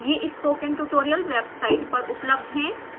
ये spoken tutorial website पर उपलब्ध हैं